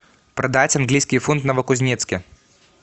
продать английский фунт в новокузнецке